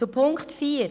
Zu Punkt 4: